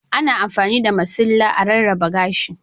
Ana amfani da masilla a rarraba gashi.